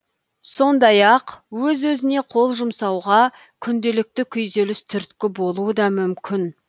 сондай ақ өз өзіне қол жұмсауға күнделікті күйзеліс түрткі болуы да мүмкін